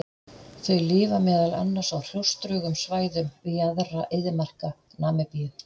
Þau lifa meðal annars á hrjóstrugum svæðum við jaðra eyðimarka Namibíu.